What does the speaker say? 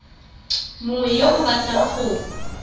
mongwe yo o batlang go